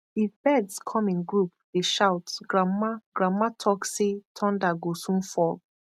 if birds come in group dey shout grandma grandma talk say thunder go soon fall